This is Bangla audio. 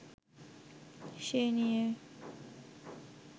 সে নিয়ে